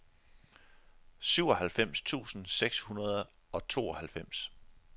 syvoghalvfems tusind seks hundrede og tooghalvfems